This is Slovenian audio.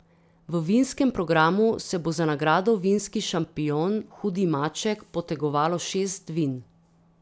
V vinskem programu se bo za nagrado vinski šampion hudi maček potegovalo šest vin.